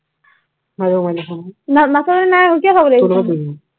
নাচালে নাই আৰু কি